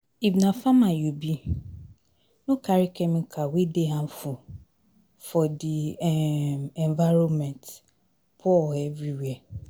If na farmer you be, no carry chemical wey dey harmful for di um environment pour everywhere